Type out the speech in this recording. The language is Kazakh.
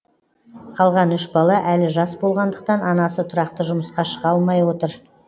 қалған үш бала әлі жас болғандықтан анасы тұрақты жұмысқа шыға алмай отыр